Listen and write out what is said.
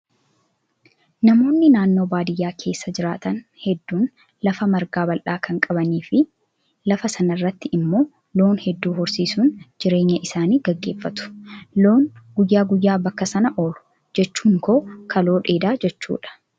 Namoonni naannoo baadiyyaa keessa jiraatan hedduun lafa margaa bal'aa kan qabanii fi lafa sanarratti immoo loon hedduu horsiisuun jireenya isaanii gaggeeffatu. Loon guyyaa guyyaa bakka sana oolu. Jechuun koo kaloo dheedaa jechuudha